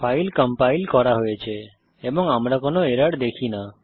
file compile করা হয়েছে এবং আমরা কোনো এরর দেখি না